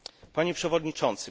Panie Przewodniczący!